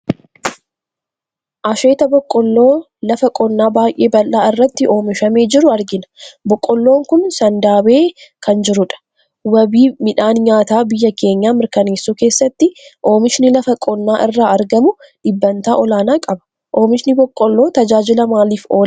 Asheeta Boqqolloo lafa qonnaa baay'ee bal'aa irratti oomishamee jiru argina. Boqqolloon kun sandaabee kan jirudha. Wabii midhaan nyaataa biyya keenyaa mirkaneessuu keessatti oomishni lafa qonnaa irraa argamu dhibbantaa olaanaa qaba. Oomishni Boqqolloo tajaajila maaliif oola?